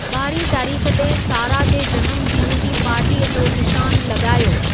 ॿारहीं तारीख़ ते सारा जे जनमु ॾींहं जी पार्टीअ जो निशानु लॻायो